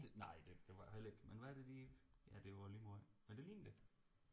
Det nej det var heller ikke men hvad det lige ja det er også lige meget men det ligner det